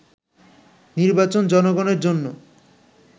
“নির্বাচন জনগণের জন্য